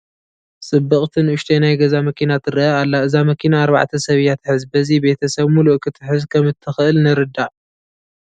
ፅብቕቲ ንኡሸተይ ናይ ገዛ መኪና ትርአ ኣላ፡፡ እዛ መኪና ኣርባዕተ ሰብ እያ ትሕዝ፡፡ በዚ ቤተ ሰብ ሙሉእ ክትሕዝ ከምትኽእል ንርዳእ፡፡